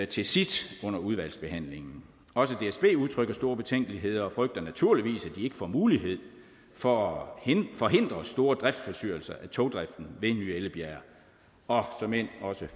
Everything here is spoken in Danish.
til sit under udvalgsbehandlingen også dsb udtrykker store betænkeligheder og frygter naturligvis at de får mulighed for at forhindre store driftsforstyrrelser af togdriften ved ny ellebjerg og